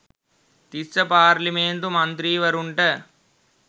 Tissa parliament මන්ත්‍රීවරුන්ට